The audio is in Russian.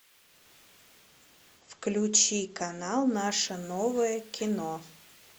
включи канал наше новое кино